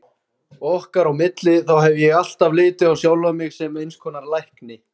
Okkar á milli, þá hef ég alltaf litið á sjálfan mig sem eins konar lækni.